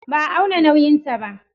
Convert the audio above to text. Ba a auna nauyinta ba.